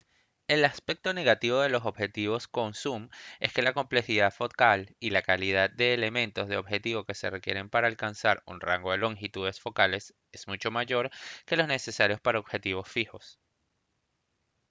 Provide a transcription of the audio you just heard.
el aspecto negativo de los objetivos con zum es que la complejidad focal y la cantidad de elementos de objetivo que se requieren para alcanzar un rango de longitudes focales es mucho mayor que los necesarios para los objetivos fijos